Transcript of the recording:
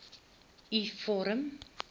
u vorm